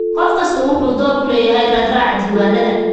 Qof kastaa wuxuu door ku leeyahay raadraaca diiwaannada.